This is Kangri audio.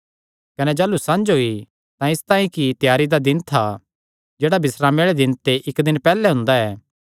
कने जाह़लू संझ होई तां इसतांई कि त्यारी दा दिन था जेह्ड़ा बिस्रामे आल़े दिन ते इक्क दिन पैहल्ले हुंदा ऐ